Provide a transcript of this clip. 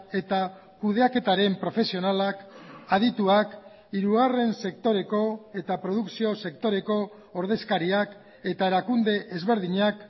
eta kudeaketaren profesionalak adituak hirugarren sektoreko eta produkzio sektoreko ordezkariak eta erakunde ezberdinak